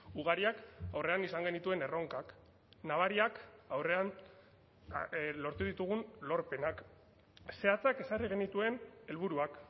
ugariak aurrean izan genituen erronkak nabariak aurrean lortu ditugun lorpenak zehatzak ezarri genituen helburuak